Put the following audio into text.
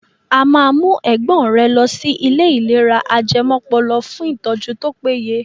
A máa mú ẹ̀gbọ́n rẹ lọsí ilé ìlera ajẹmọ́pọlọ fún ìtọ́jú tó péye.